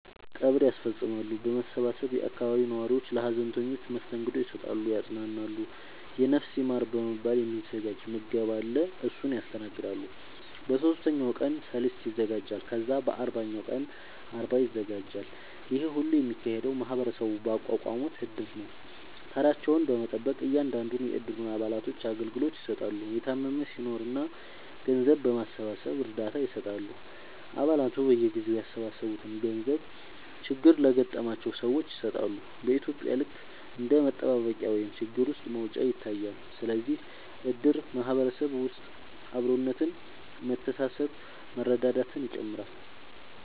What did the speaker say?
ቀብር ያስፈፅማሉ በመሰባሰብ የአካባቢው ነዋሪዎች ለሀዘንተኞች መስተንግዶ ይሰጣሉ ያፅናናሉ የነፍስ ይማር በመባል የ ሚዘጋጅ ምገባ አለ እሱን ያስተናግዳሉ በ ሶስተኛው ቀን ሰልስት ይዘጋጃል ከዛ በ አርባኛው ቀን አርባ ይዘጋጃል ይሄ ሁሉ የሚካሄደው ማህበረሰቡ ባቋቋሙት እድር ነው ተራቸውን በመጠበቅ እያንዳንዱን የ እድሩ አባላቶች አገልግሎት ይሰጣሉ የታመመም ሲናኖር ገንዘብ በማሰባሰብ እርዳታ ይሰጣሉ አ ባላቱ በየጊዜው ያሰባሰቡትን ገንዘብ ችግር ለገጠማቸው ሰዎች ይሰጣሉ በ ኢትዩጵያ ልክ እንደ መጠባበቂያ ወይም ችግር ውስጥ መውጫ ይታያል ስለዚህም እድር በ ማህበረሰብ ውስጥ አብሮነት መተሳሰብ መረዳዳትን ይጨምራል